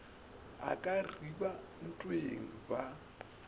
o ka reba ntweng ba